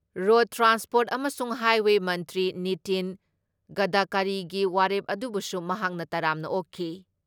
Road transport ꯑꯃꯁꯨꯡ highways ꯃꯟꯇ꯭ꯔꯤ ꯅꯤꯇꯤꯟ ꯒꯗꯀꯥꯔꯤꯒꯤ ꯋꯥꯔꯦꯞ ꯑꯗꯨꯕꯨꯁꯨ ꯃꯍꯥꯛꯅ ꯇꯔꯥꯝꯅ ꯑꯣꯛꯈꯤ ꯫